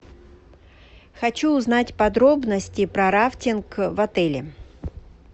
хочу узнать подробности про рафтинг в отеле